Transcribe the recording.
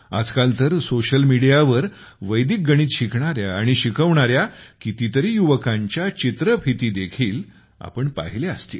आजकाल तर social media वर वैदिक गणित शिकणाऱ्या आणि शिकवणाऱ्या कितीतरी युवकांच्या व्हिडिओस देखील आपण पाहिल्या असतील